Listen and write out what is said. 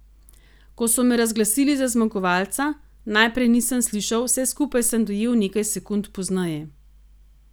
Ko so me razglasili za zmagovalca, najprej nisem slišal, vse skupaj sem dojel nekaj sekund pozneje.